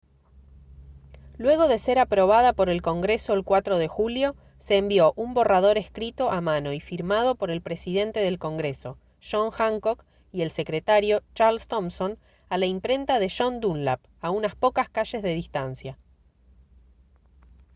luego de ser aprobada por el congreso el 4 de julio se envió un borrador escrito a mano y firmado por el presidente del congreso john hancock y el secretario charles thomson a la imprenta de john dunlap a unas pocas calles de distancia